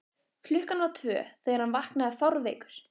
klukkan var tvö þegar hann vaknaði fárveikur.